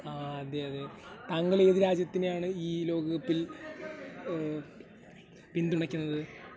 താങ്കൾ ഏത് രാജ്യത്തെയാണ് ഈ ലോകകപ്പിൽ പിന്തുണക്കുന്നത് ?